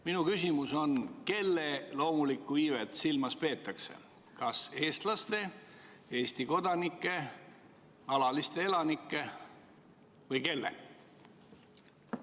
Minu küsimus on, et kelle loomulikku iivet silmas peetakse – kas eestlaste, Eesti kodanike, alaliste elanike või kellegi teise?